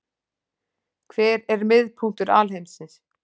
Hver er miðpunktur alheimsins?